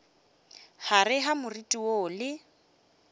gare ga moriti woo le